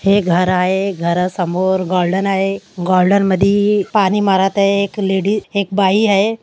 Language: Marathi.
हे घर आहे. घरासमोर गार्डन आहे. गार्डन मधि पानी मारत आहे. एक लेडीस एक बाई आहे.